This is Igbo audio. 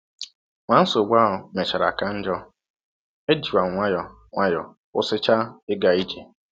Ma nsọgbụ ahụ mechara ka njọ, ejikwa m nwayọọ nwayọọ kwụsịchaa ịga ije.